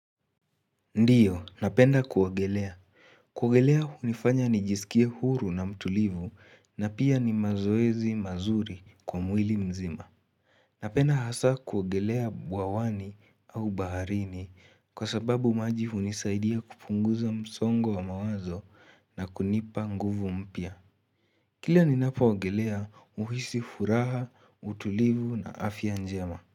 Ndiyo, napenda kuogelea. Kuogelea hunifanya nijisikie huru na mtulivu na pia ni mazoezi mazuri kwa mwili mzima. Napenda hasaa kuogelea bwawani au baharini kwa sababu maji hunisaidia kupunguza msongo wa mawazo na kunipa nguvu mpya. Kila ninapoogelea uhisi furaha, utulivu na afya njema.